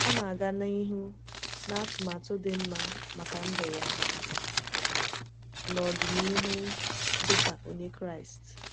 Ọ na-aga n’ihu na atụmatụ dị mma maka ndụ ya n’ọdịnihu dị ka Onye Kraịst.